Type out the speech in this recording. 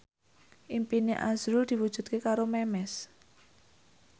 impine azrul diwujudke karo Memes